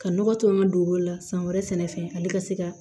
Ka nɔgɔ to an ka donbolo la san wɛrɛ fɛnɛ fɛ ale ka se ka